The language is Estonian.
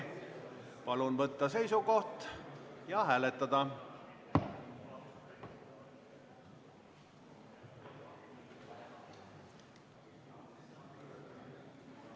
Palun võtta seisukoht ja hääletada!